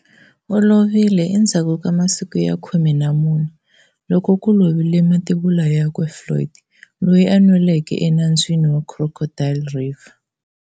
U lovile endzhaku ka masiku ya khume na mune loko ku lovile mativula yakwe Floyd, loyi a nweleke enambyini wa Crocodile River.